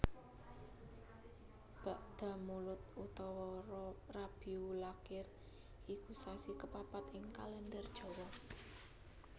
Bakdamulud utawa Rabiulakhir iku sasi kapapat ing Kalèndher Jawa